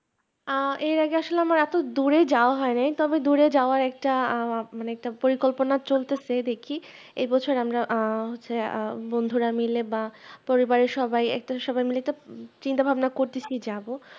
আহ এর আগে আসলে আমার এত দূরে যাওয়া হয় নাই তবে দূরে যাওয়ার একটা মানে একটা পড়ি কল্পনা চলতেছে দেখি এই বছর আমরা আহ বন্ধুরা মিলে বা পরিবারের সবাই মিলে একটা চিতা ভাবনা করতেছি যাবো